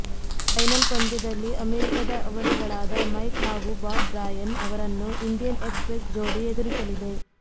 final ಪಂದ್ಯದಲ್ಲಿ ಅಮೆರಿಕದ ಅವಳಿಗಳಾದ ಮೈಕ್ ಹಾಗೂ ಬಾಬ್ ಬ್ರಾಯನ್ ಅವರನ್ನು ಇಂಡಿಯನ್ ಎಕ್ಸ್ ಪ್ರೆಸ್ ಜೋಡಿ ಎದುರಿಸಲಿದೆ